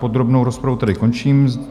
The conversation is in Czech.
Podrobnou rozpravu tedy končím.